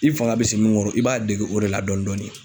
I fanga bɛ se min kɔrɔ; i b'a dege o de la dɔɔnin dɔɔnin.